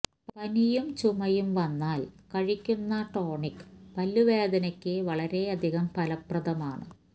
പനിയും ചുമയും വന്നാല് കഴിക്കുന്ന ടോണിക് പല്ല് വേദനക്ക് വളരെയധികം ഫലപ്രദമാണ്